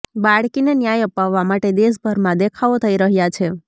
બાળકીને ન્યાય અપાવવા માટે દેશભરમાં દેખાવો થઈ રહ્યા છે